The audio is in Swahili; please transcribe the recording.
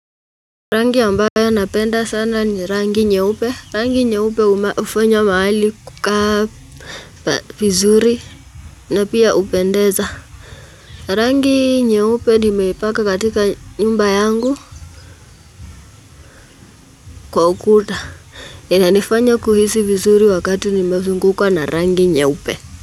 Rangi amabayo napenda sana ni rangi nyeupe. Rangi nyeupe hufanya mahali kukaa vizuri na pia hupendeza. Rangi nyeupe nimeipaka katika nyumba yangu kwa ukuta. Inanifanya kuhisi vizuri wakati nimezungukwa na rangi nyeupe.